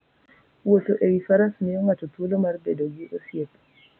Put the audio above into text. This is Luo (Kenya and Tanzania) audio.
Wuotho e wi faras miyo ng'ato thuolo mar bedo gi osiepe.